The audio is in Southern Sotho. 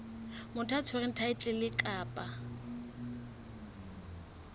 motho ya tshwereng thaetlele kapa